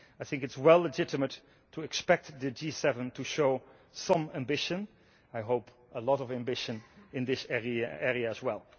I think it is well legitimate to expect the G7 to show some ambition I hope a lot of ambition in this area as well.